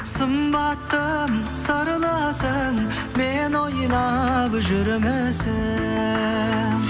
сымбаттым сырлысың мені ойлап жүрмісің